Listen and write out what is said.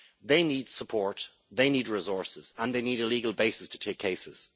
They need support, they need resources, and they need a legal basis to take cases.